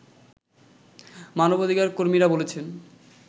মানবাধিকার কর্মীরা বলছেন